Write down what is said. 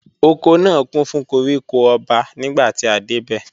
Oko náà kún fún koríko ọba nígbàtí a dé bẹ̀